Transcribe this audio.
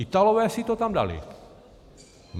Italové si to tam dali.